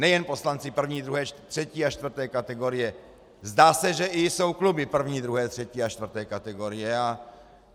Nejen poslanci první, druhé, třetí a čtvrté kategorie, zdá se, že jsou i kluby první, druhé, třetí a čtvrté kategorie.